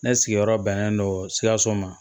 Ne sigiyɔrɔ bɛnnen don sikaso ma